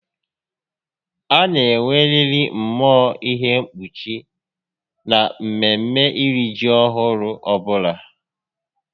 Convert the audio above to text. A na enweririi mmụọ ihe mkpuchi na mmeme iri ji ọhụrụ ọbula